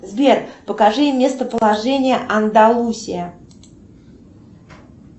сбер покажи местоположение андалусия